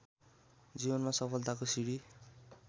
जीवनमा सफलताको सिंढी